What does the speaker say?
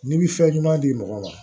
N'i bi fɛn ɲuman di mɔgɔ ma